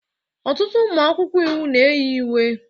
Ọtụtụ ụmụ akwụkwọ iwu na-eyi uwe